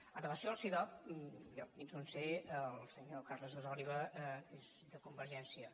amb relació al cidob jo fins on sé el senyor carles gasòliba és de convergència